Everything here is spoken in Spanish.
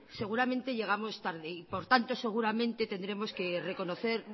seguramente llegamos tarde y por tanto seguramente tendremos que reconocer